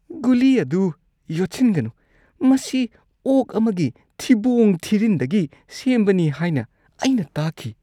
ꯒꯨꯂꯤ ꯑꯗꯨ ꯌꯣꯠꯁꯤꯟꯒꯅꯨ꯫ ꯃꯁꯤ ꯑꯣꯛ ꯑꯃꯒꯤ ꯊꯤꯕꯣꯡ-ꯊꯤꯔꯤꯟꯗꯒꯤ ꯁꯦꯝꯕꯅꯤ ꯍꯥꯏꯅ ꯑꯩꯅ ꯇꯥꯈꯤ꯫